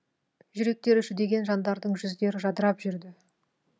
жүректері жүдеген жандардың жүздері жадырап жүрді